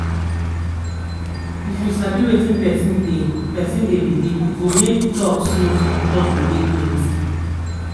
if you sabi wetin person dey person dey believe e go make talk smooth and trust go dey plenty